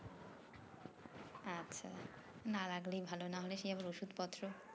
আচ্ছা না লাগলেই ভালো না হলে সেই আবার ওষুধ পত্র